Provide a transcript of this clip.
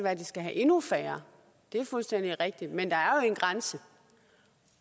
at de skal have endnu færre det er fuldstændig rigtigt men der er jo en grænse